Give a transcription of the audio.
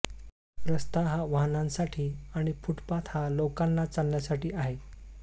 रस्ता हा वाहनांसाठी आणि फुटपाथ हा लोकांना चालण्यासाठी आहे